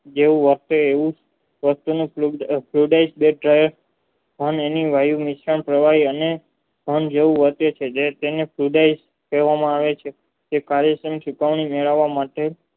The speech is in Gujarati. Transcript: જેવું વર્તો એવું આ વાયુને વાહિનીસ્તાન કહેવાય અને તે કાર્યક્રમ સુધારા મેળવવા માટે